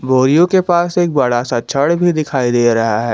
बोरियों के पास एक बड़ा सा छड़ भी दिखाई दे रहा है।